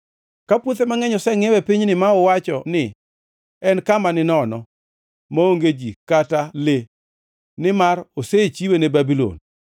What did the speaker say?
Ka puothe mangʼeny osengʼiew e pinyni ma uwacho ni, ‘En kama ninono, maonge ji kata le, nimar osechiwe ne jo-Babulon.’